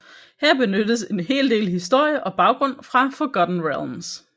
Her benyttes en hel del historie og baggrund fra Forgotten Realms